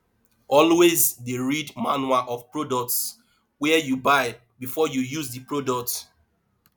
always de read manual of products wey you buy before you use di product